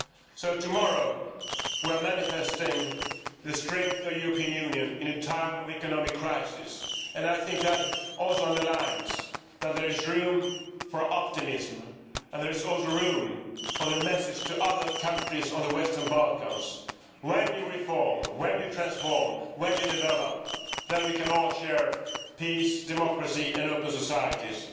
So tomorrow we will be manifesting the strength of the European Union in a time of economic crisis. I think that also underlines that there is room for optimism and there is also room for the message to other countries of the Western Balkans when you reform, when you transform, when you develop, then we can all share peace, democracy and open societies.